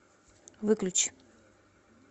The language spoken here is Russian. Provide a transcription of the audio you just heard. выключи